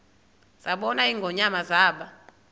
zabona ingonyama zaba